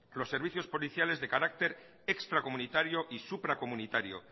los servicios policiales de carácter extracomunitario y supracomunitario